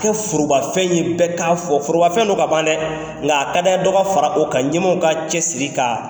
Kɛ forobafɛn ye bɛɛ k'a fɔ forobafɛn don ka ban dɛ nka a ka d'an ye dɔ ka fara o kan ɲɛmaw ka cɛsiri ka